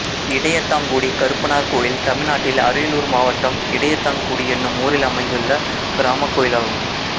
இடையத்தாங்குடி கருப்பனார் கோயில் தமிழ்நாட்டில் அரியலூர் மாவட்டம் இடையத்தாங்குடி என்னும் ஊரில் அமைந்துள்ள கிராமக் கோயிலாகும்